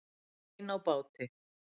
Ein á báti